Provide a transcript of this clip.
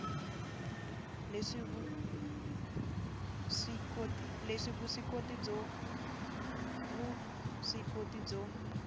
le vuswikoti byo vuswikoti byo